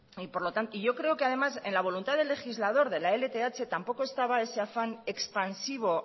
y yo creo que además en la voluntad del legislador de la lth tampoco estaba ese afán expansivo